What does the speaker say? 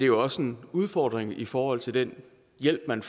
jo også en udfordring i forhold til den hjælp man